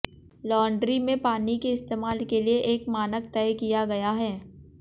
laundry में पानी के इस्तेमाल के लिए एक मानक तय किया गया है